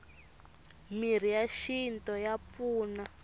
mirhi ya xinto ya pfuna